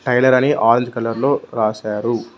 Tailor అని all కలర్లో రాశారు.